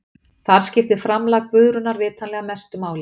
Þar skiptir framlag Guðrúnar vitanlega mestu máli.